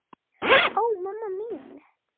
Ó, mamma mín.